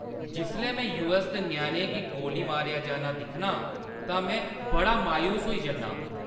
जिसलै में यूऐस्स च ञ्याणें गी गोली मारेआ जाना दिक्खनी आं तां में बड़ी मायूस होई जन्नी आं।